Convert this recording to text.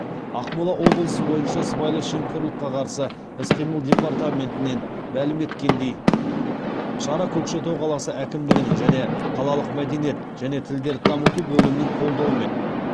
ақмола облысы бойынша сыбайлас жемқорлыққа қарсы іс қимыл департаментінен мәлім еткендей шара көкшетау қаласы әкімдігінің және қалалық мәдениет және тілдерді дамыту бөлімінің қолдауымен